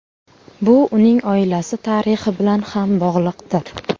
Bu uning oilasi tarixi bilan ham bog‘liqdir.